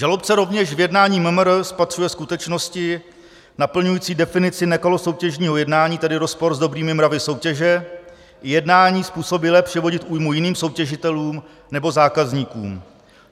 Žalobce rovněž v jednání MMR spatřuje skutečnosti naplňující definici nekalosoutěžního jednání, tedy rozpor s dobrými mravy soutěže, i jednání způsobilé přivodit újmu jiným soutěžitelům nebo zákazníkům.